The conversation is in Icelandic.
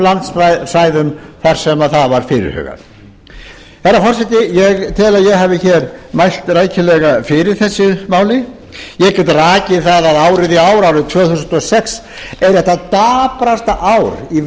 landsvæðum þar sem það var fyrirhugað herra forseti ég tel að ég hafi hér mælt rækilega fyrir þessu máli ég get rakið það að árið í ár árið tvö þúsund og sex er eitt það daprasta ár í